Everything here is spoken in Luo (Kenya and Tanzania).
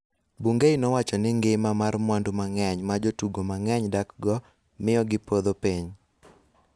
Bungei nowacho ni ngima mar mwandu mang�eny ma jotugo mang�eny dakgo miyo gipodho piny,